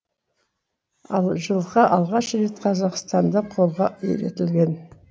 ал жылқы алғаш рет қазақстанда қолға үйретілген